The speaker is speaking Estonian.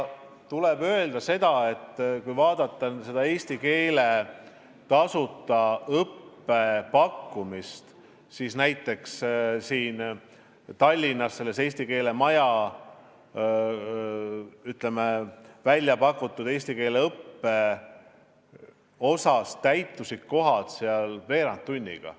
Tuleb öelda, et kui vaadata eesti keele tasuta õppe pakkumist, siis näiteks Tallinnas täitusid eesti keele maja väljapakutud kohad veerand tunniga.